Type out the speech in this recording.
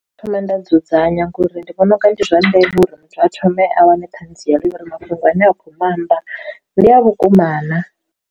Thoma nda dzudzanya ngori ndi vhona unga ndi zwa ndeme uri muthu a thome a wane ṱhanziela ya uri mafhungo ane a kho ma amba ndi a vhukuma na.